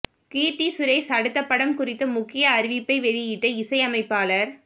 கீர்த்தி சுரேஷ் அடுத்த படம் குறித்த முக்கிய அறிவிப்பை வெளியிட்ட இசையமைப்பாளர்